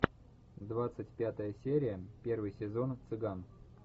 двадцать пятая серия первый сезон цыган